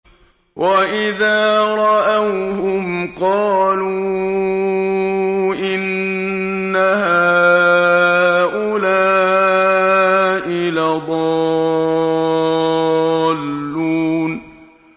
وَإِذَا رَأَوْهُمْ قَالُوا إِنَّ هَٰؤُلَاءِ لَضَالُّونَ